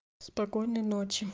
спокойной ночи